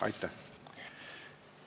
Aitäh!